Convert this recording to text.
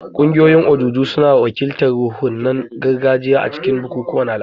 Ƙungiyoyin ojuju suna wakiltar ruhunan gargajiya a cikin bukukuwan al'adu.